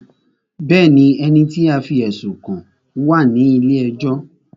Bẹ́ẹ̀ni, ẹni tí a fí ẹ̀sùn kàn wá à ní ilé ẹjọ́